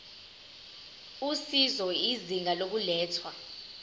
usizo izinga lokulethwa